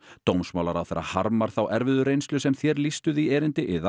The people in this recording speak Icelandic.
dómsmálaráðherra harmar þá erfiðu reynslu sem þér lýstuð í erindi yðar